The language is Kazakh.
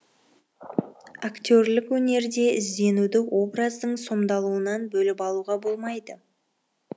актерлік өнерде ізденуді образдың сомдалуынан бөліп алуға болмайды